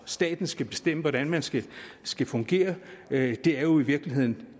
staten skal bestemme hvordan man skal skal fungere det er jo i virkeligheden